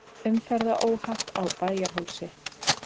Umferðaróhapp á Bæjarhálsi